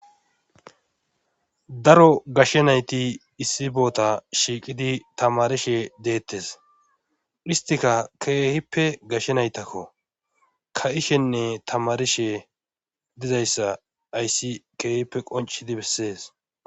daro gashshe nayti issi boota shiiqidi tamarishe deettes histika keehippe gashshe naytakko ka ishenne tamarishe dizayssa ayssi keehippe qoncidi bessees